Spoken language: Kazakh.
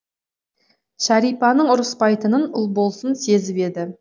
шәрипаның ұрыспайтынын ұлболсын сезіп еді